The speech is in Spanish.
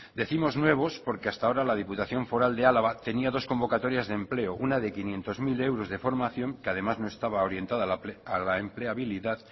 decimos nuevos porque hasta la diputación foral de álava tenía dos convocatorias de empleo una de quinientos mil euros de formación que además no estaba orientada a la empleabilidad